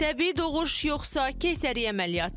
Təbii doğuş yoxsa keysəriyyə əməliyyatı?